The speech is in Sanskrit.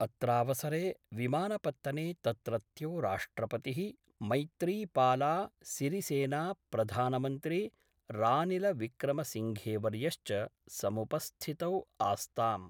अत्रावसरे विमानपत्तने तत्रत्यो राष्ट्रपतिः मैत्रीपाला सिरीसेना प्रधानमन्त्री रानिलविक्रमसिंघेवर्यश्च समुपस्थितौ आस्ताम्।